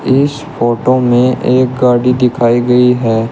इस फोटो में एक गाड़ी दिखाई गई है।